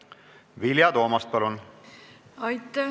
Vilja Toomast, palun!